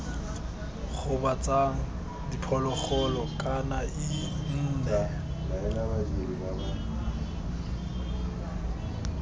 gobatsang diphologolo kana ii nne